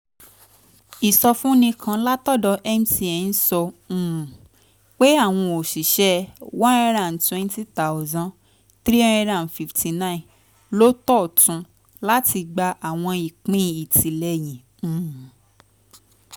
ìsọfúnni kan látọ̀dọ̀ mtn sọ um pé àwọn òṣìṣẹ́ one hundred twenty thousand three hundred fifty nine ló tóótun láti gba àwọn ìpín ìtìlẹ́yìn um